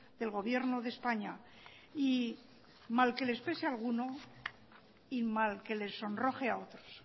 del gobierno de españa y mal que les pese a alguno y mal que les sonroje a otros